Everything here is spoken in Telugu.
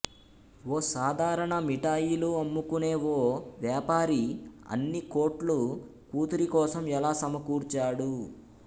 ఓ సాధారణ మిఠాయిలు అమ్ముకునే ఓ వ్యాపారి అన్ని కోట్లు కూతురి కోసం ఎలా సమకూర్చాడు